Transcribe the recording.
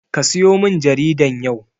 Kasiyo min jaridan yau.